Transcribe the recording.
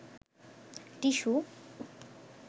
tissue